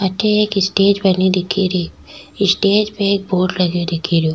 अठे एक स्टेज बनी दिखे री स्टेज पे एक बोर्ड लग्यो दिखे रो।